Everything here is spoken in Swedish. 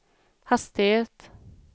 hastighet